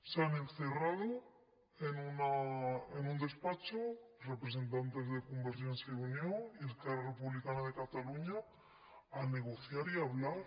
se han encerrado en un despacho representantes de convergència i unió y esquerra republicana de catalunya a negociar y hablar